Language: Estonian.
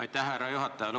Aitäh, härra juhataja!